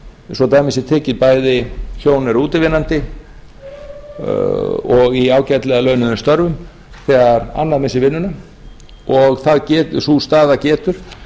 svo dæmi sé tekið að bæði hjón eru útivinnandi og í ágætlega launuðum störfum þegar annað missir vinnuna og sú staða getur